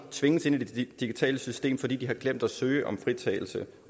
tvinges ind i det digitale system fordi vedkommende har glemt at søge om fritagelse